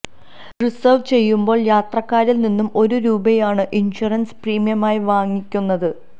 reserve ചെയ്യുമ്പോൾ യാത്രക്കാരിൽ നിന്ന് ഒരു രൂപയാണ് ഇൻഷുറൻസ് പ്രീമിയമായി വാങ്ങിക്കുന്നത്